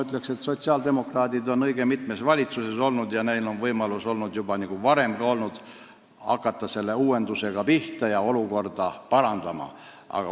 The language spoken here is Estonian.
Ent sotsiaaldemokraadid on õige mitmes valitsuses olnud ja neil on juba varem olnud võimalus uuendustega pihta hakata ja olukorda parandada.